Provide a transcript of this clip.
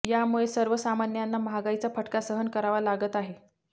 यामुळे सर्वसामान्यांना महागाईचा फटका सहन करावा लागत आहे